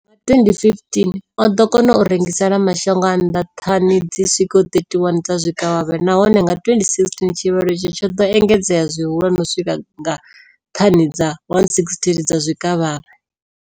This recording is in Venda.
Nga 2015, o ḓo kona u rengisela mashango a nnḓa thani dzi swikaho 31 dza zwikavhavhe, nahone nga 2016 tshivhalo itshi tsho ḓo engedzea zwihulwane u swika nga thani dza 168 dza zwikavhavhe.